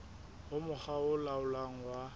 ho mokga o laolang wa